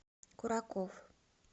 кураков